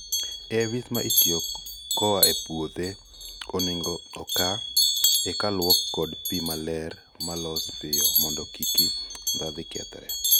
AIVs ma itio koa e puodho oningo oka eka luok kod pii maler ma losi pio mondo kiki ndhathe kethre